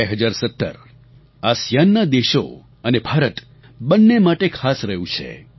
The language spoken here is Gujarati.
2017 આસિઆનના દેશો અને ભારત બંને માટે ખાસ રહ્યું છે